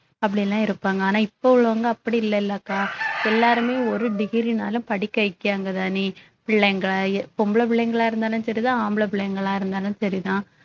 அப்படி எல்லாம் இருப்பாங்க ஆனா இப்ப உள்ளவங்க அப்படி இல்லை இல்லைல்லக்கா எல்லாருமே ஒரு degree ன்னாலும் படிக்க வைக்காங்கதானே பிள்ளை பொம்பள புள்ளைங்களா இருந்தாலும் சரிதான் ஆம்பளை புள்ளைங்களா இருந்தாலும் சரிதான்